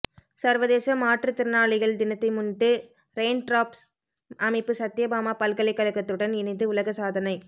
சர்வதேச மாற்றுத்திறனாளிகள் தினத்தை முன்னிட்டு ரெயின்ட்ராப்ஸ் அமைப்பு சத்தியபாமா பல்கலைக்கழகத்துடன் இணைந்து உலக சாதனை